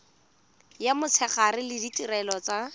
ya motshegare le ditirelo tsa